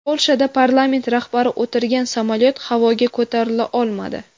Polshada parlament rahbari o‘tirgan samolyot havoga ko‘tarila olmadi.